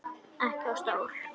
Ekki á stól.